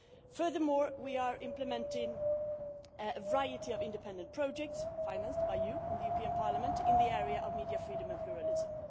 Furthermore, we are implementing a variety of independent projects financed by you in the European Parliament in the area of media freedom and pluralism.